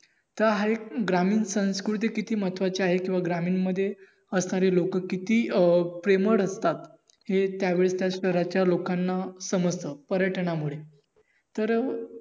तर हा एक ग्रामीण संस्कृती किती महत्वाची आहे किंव्हा ग्रामीण मध्ये असणारी लोक किती अं प्रेमळ रहातात हे त्या वेळी त्या शहराच्या लोकांना समजतात पर्यटनामुळे